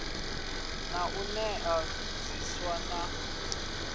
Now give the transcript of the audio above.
na u nea zwiswa na